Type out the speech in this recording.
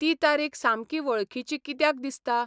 ती तारीख सामकी वळखिची किद्याक दिसता?